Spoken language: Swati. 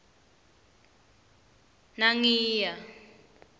nangiya